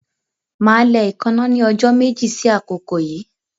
Màá lẹ ẹ̀ẹ́káná ní ọjọ́ sí àkókò yíì